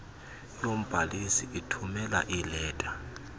yombhalisi ithumela iileta